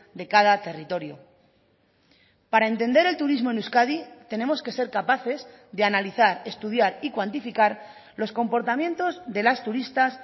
de cada territorio para entender el turismo en euskadi tenemos que ser capaces de analizar estudiar y cuantificar los comportamientos de las turistas